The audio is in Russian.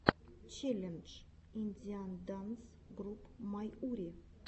челлендж индиан данс груп майури